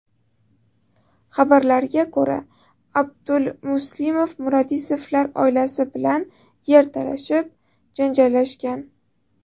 Xabarlarga ko‘ra, Aldulmuslimov Muradisovlar oilasi bilan yer talashib, janjallashgan.